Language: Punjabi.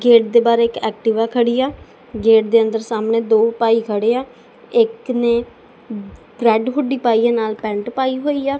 ਗੇਟ ਦੇ ਬਾਹਰ ਇੱਕ ਐਕਟਿਵਾ ਖੜੀ ਹੈ ਗੇਟ ਦੇ ਅੰਦਰ ਸਾਹਮਣੇ ਦੋ ਭਾਈ ਖੜੇ ਹਾਂ ਇੱਕ ਨੇ ਰੈੱਡ ਹੁੱਡੀ ਪਾਈ ਆ ਨਾਲ ਪੈਂਟ ਪਾਈ ਹੋਇਆ।